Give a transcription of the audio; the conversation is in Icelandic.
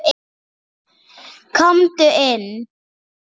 Komdu inn